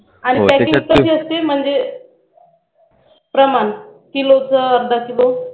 आणि पॅकिंग कशी असते म्हणजे प्रमाण Kilo की अर्धा किलो